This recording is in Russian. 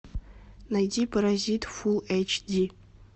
найди паразит фулл эйч ди